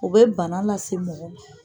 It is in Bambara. U bɛ bana lase mɔgɔ man!